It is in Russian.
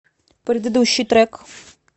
предыдущий трек